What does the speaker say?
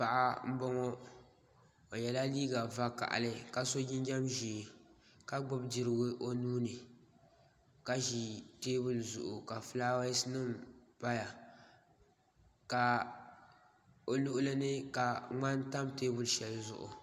Paɣa n boŋo o yɛla liiga vakali ka so jinjɛm ʒiɛ ka gbubi dirigu o nuuni ka ʒi teebuli zuɣu ka fulaawaasi nim paya o luɣuli ni ka ŋmani tam teebuli shɛli zuɣu